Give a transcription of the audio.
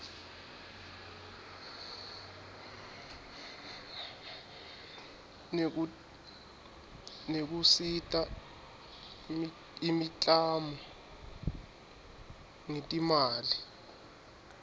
nekusita imiklamo ngetimali